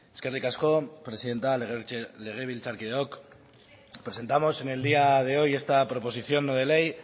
eskerrik asko presidente legebiltzarkideok presentamos en el día de hoy esta proposición no de ley